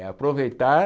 É aproveitar...